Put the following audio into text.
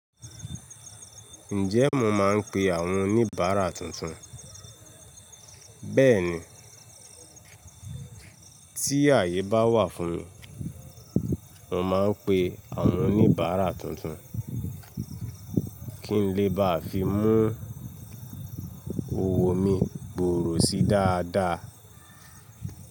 Ǹjẹ́ mo máa ń pe àwọn oníbàárà tuntun? Bẹ́ẹ̀ni, tí àyè bá wà fún mi, mo máa ń pe àwọn oníbàárà tuntun kí n lè bá fi mú òwò mi gbòòrò sí dáadáa.